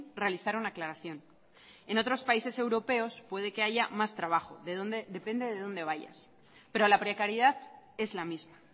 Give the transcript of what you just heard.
realizar una aclaración en otros países europeos puede que haya más trabajo depende de donde vayas pero la precariedad es la misma